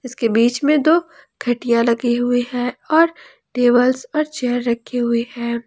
इसके बीच में दो खटिया लगी हुई है और टेबल्स और चेयर रखी हुई।